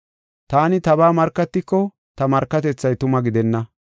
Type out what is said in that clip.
“Taani tabaa markatiko ta markatethay tuma gidenna.